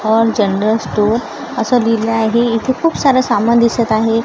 ओम general store असं लिहिलेलं आहे इथे खूप सारं सामान दिसत आहे.